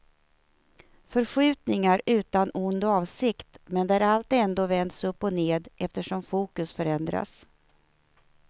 Förskjutningar utan ond avsikt men där allt ändå vänds upp och ned eftersom fokus förändras.